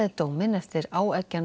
dóminn eftir áeggjan